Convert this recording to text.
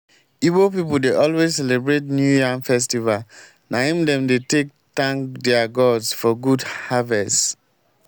ibo pipu dey always celebrate new yam festival na im dem dey take tank their gods for good harvest.